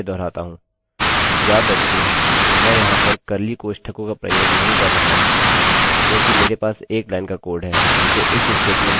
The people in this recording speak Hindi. चलिए मैं संक्षेप में फिर से दोहराता हूँ याद रखिये मैं यहाँ पर कर्लीcurly कोष्ठकों का प्रयोग नहीं कर रहा हूँ क्योंकि मेरे पास एक लाइन का कोड है जिसे if स्टेटमेंटstatement के बाद ब्लाक में निष्पादित करने की जरूरत है